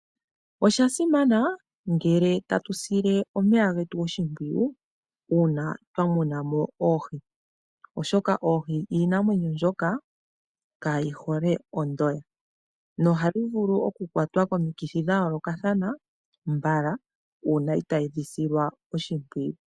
Oshasimana ngele tatu sile omeya getu oshimpwiyu uuna twa muna mo oohi, oshoka oohi iinamwenyo mbyoka kaayi hole ondoya nohayi vulu okukwatwa nuupu komithi dha yolokathana uuna itaadhi silwa oshimpwiyu.